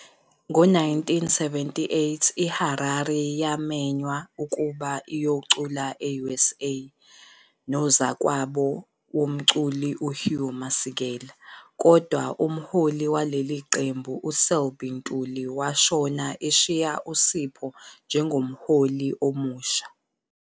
Ngo-1978, iHarari yamenywa ukuba iyocula e-USA nozakwabo womculi uHugh Masekela, kodwa umholi waleli qembu uSelby Ntuli washona eshiya uSipho njengomholi omusha.